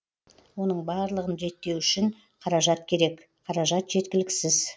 оның барлығын реттеу үшін қаражат керек қаражат жеткіліксіз